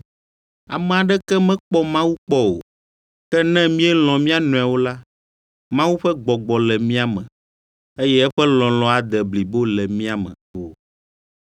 Ame aɖeke mekpɔ Mawu kpɔ o, ke ne míelɔ̃ mía nɔewo la, Mawu ƒe Gbɔgbɔ le mía me, eye eƒe lɔlɔ̃ ade blibo le mía me.